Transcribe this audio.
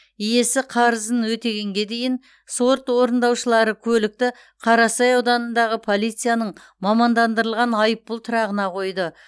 иесі қарызын өтегенге дейін сот орындаушылары көлікті қарасай ауданындағы полицияның мамандандырылған айыппұл тұрағына қойды